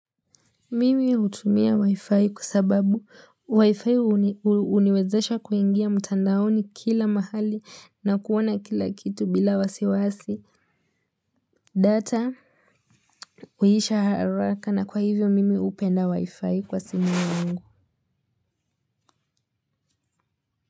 Mimi hutumia wi-fi kwa sababu wi-fi uniwezesha kuingia mtandaoni kila mahali na kuona kila kitu bila wasiwasi data uisha haraka na kwa hivyo mimi upenda wi-fi kwa simu yangu.